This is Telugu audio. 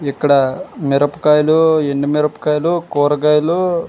ఇక్కడ మిరపకాయలు ఎండి మిరపకాయలు కూరగాయలు.